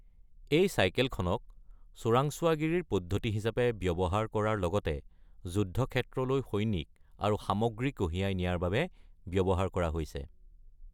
এই চাইকেলখনক চোৰাংচোৱাগিৰিৰ পদ্ধতি হিচাপে ব্যৱহাৰ কৰাৰ লগতে যুদ্ধক্ষেত্ৰলৈ সৈনিক আৰু সামগ্ৰী কঢ়িয়াই নিয়াৰ বাবে ব্যৱহাৰ কৰা হৈছে।